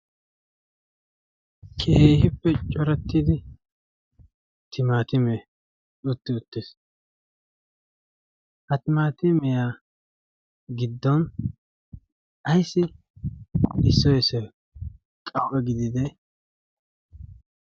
keehippe corettidi timaatime utti uttiis. ha timaatimiyaa giddon aissi issoi issoy qau'e gidide?